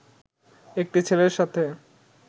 একটি ছেলের সাথে